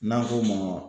N'an ko ma